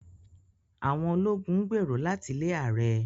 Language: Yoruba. Àwọn ológun ń gbèrò láti lé ààrẹ